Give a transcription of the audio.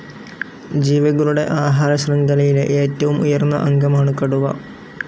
ജീവികളുടെ ആഹാരശൃംഖലയിലെ ഏറ്റവും ഉയർന്ന അംഗമാണ്‌ കടുവ.